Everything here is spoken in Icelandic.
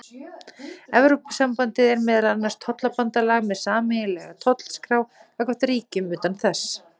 Evrópusambandið er meðal annars tollabandalag með sameiginlega tollskrá gagnvart ríkjum utan þess.